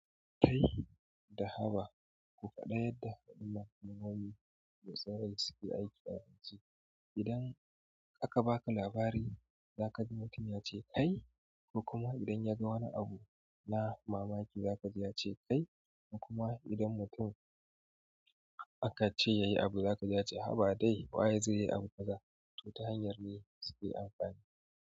"Kai" da "Haba" kuma ɗaya daga cikin maganani da tsarin suke aiki a harshe. Idan aka baka labari za ka ji mutum ya ce "ai", kuma idan ya ga wani abu na mamaki za ka ji ya ce "ai", kuma idan mutum aka ce yayi abu za ka ji ya ce "haba dai waye zai yi abun kazaa?" To ta hanyar ne suke amfani.